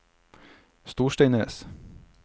Storsteinnes